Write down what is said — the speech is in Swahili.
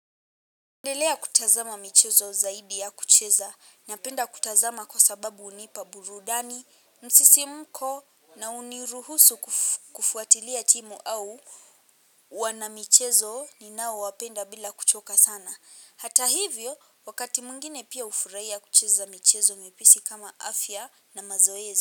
Napendelea kutazama michezo zaidi ya kucheza, napenda kutazama kwa sababu unipa burudani, msisimko na uniruhusu kufuatilia timu au wana michezo ninao wapenda bila kuchoka sana. Hata hivyo, wakati mwingine pia hufurahia kucheza michezo mipesi kama afya na mazoezi.